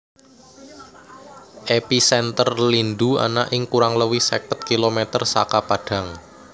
Episènter lindhu ana ing kurang luwih seket kilometer saka Padang